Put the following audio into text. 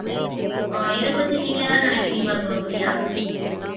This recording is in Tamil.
ஆஹ் இத பத்தி நீங்க எதாவது நினைக்குறீங்களா குணப்ரியா?